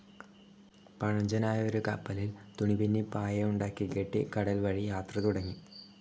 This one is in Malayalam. പഴഞ്ചനായ ഒരു കപ്പലിൽ തുണിപിന്നി പായയുണ്ടാക്കിക്കെട്ടി കടൽവഴി യാത്ര തുടങ്ങി.